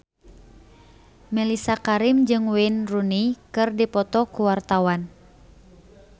Mellisa Karim jeung Wayne Rooney keur dipoto ku wartawan